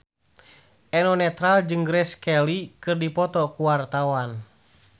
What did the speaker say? Eno Netral jeung Grace Kelly keur dipoto ku wartawan